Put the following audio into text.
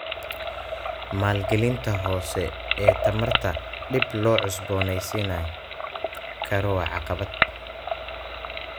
Maalgelinta hoose ee tamarta dib loo cusboonaysiin karo waa caqabad.